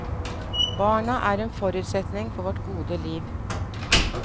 Barna er en forutsetning for vårt gode liv.